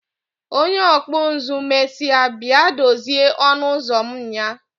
Onye ọkpụ nzụ mesịa bịa dozie ọnụ ụzọ m nyaa